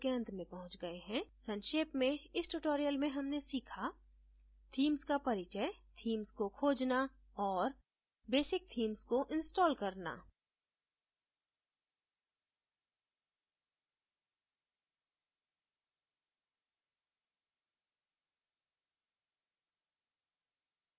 संक्षेप में इस tutorial में हमने सीखा themes का परिचय themes को खोजना और बेसिक theme को इंस्टॉल करना